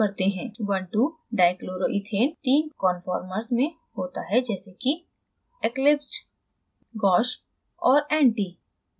12dichloroethane तीन conformers में होता है जैसे कि: